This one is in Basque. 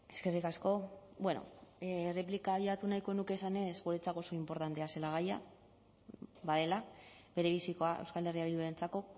eskerrik asko bueno erreplika abiatu nahiko nuke esanez guretzako oso inportantea zela gaia badela berebizikoa euskal herria bildurentzako